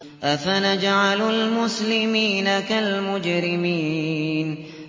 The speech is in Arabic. أَفَنَجْعَلُ الْمُسْلِمِينَ كَالْمُجْرِمِينَ